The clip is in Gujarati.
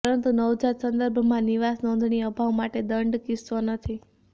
પરંતુ નવજાત સંદર્ભમાં નિવાસ નોંધણી અભાવ માટે દંડ કિસ્સો નથી